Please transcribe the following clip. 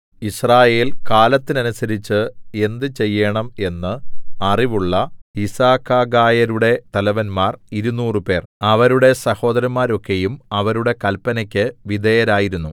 യിസ്രായേൽ കാലത്തിനനുസരിച്ച് എന്ത് ചെയ്യേണം എന്നു അറിവള്ള യിസ്സാകഖായരുടെ തലവന്മാർ ഇരുനൂറുപേർ 200 അവരുടെ സഹോദരന്മാരൊക്കെയും അവരുടെ കല്പനയ്ക്ക് വിധേയരായിരുന്നു